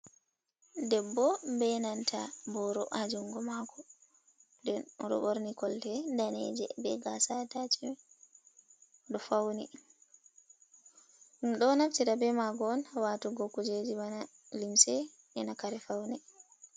Debbo benanta boro haa jungo maako oɗo ɓorni kolte daneje be gasa atashimen oɗo fauni ɗum ɗo naftira ha waatugo kujeji bana limse ena kare faune.